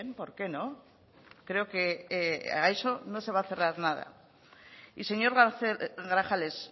por qué no creo que a eso no se va a cerrar nada y señor grajales